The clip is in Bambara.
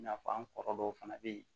I n'a fɔ an kɔrɔ dɔw fana be yen